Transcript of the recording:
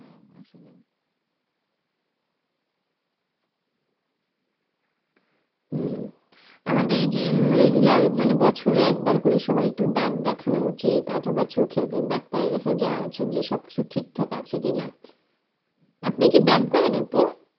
হম আমাদের যে regular মানে বছরে একবার করে সবার একটু করে দাঁত দেখানো উচিত অথবা চোখ এর ডাক্তারের কাছে যাওয়া উচিত যেসব কিছু ঠিক আছে কিনা আপনি কি ব্যায়াম করেন আপু?